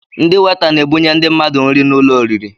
Ndị weta n'ebunye ndị mmadụ nri n'ụlọ oriri